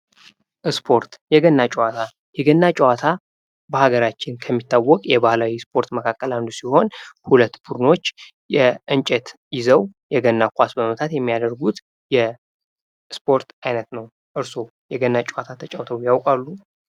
ስፖርት የገና ጨዋታ፡- የገና ጨዋታ በአገራችን ከሚታወቅ የባህላዊ ስፖርቶች መካከል አንዱ ሲሆን ሁለት ቡድኖች የእንጨት ይዘው የገና ኳስ በመምታት የሚያደርጉት ስፖርት አይነት ነው። እርሶ የገና ጨዋታ ተጫውተው ያውቃሉ።